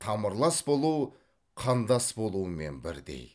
тамырлас болу қандас болумен бірдей